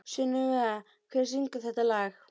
Sunneva, hver syngur þetta lag?